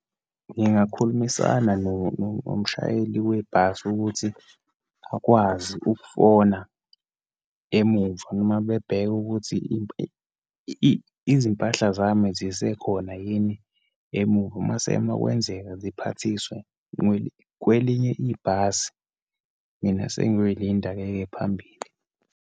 Ngingakhulumisana nomshayeli webhasi ukuthi akwazi ukufona emuva, noma bebheke ukuthi izimpahla zami zisekhona yini emuva. Uma sekwenzeka ziphathiswe kwelinye ibhasi. Mina sengiyoyilinda-ke ke phambili.